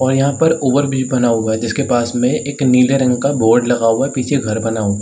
और यहाँ पर ओवरब्रिज भी बना हुआ है। जिसके पास में एक नीले रंग का बोर्ड लगा हुआ है। पीछे घर बना हुआ --